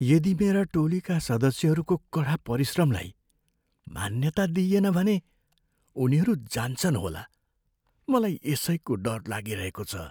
यदि मेरा टोलीका सदस्यहरूको कडा परिश्रमलाई मान्यता नदिइएन भने उनीहरू जान्छन् होला। मलाई यसैको डर लागिरहेको छ।